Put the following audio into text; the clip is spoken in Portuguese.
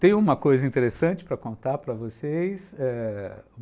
Tenho uma coisa interessante para contar para vocês, eh...